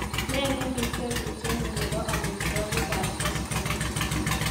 nee nemi tebutyenyun nebo omitwogik ab koskoleng'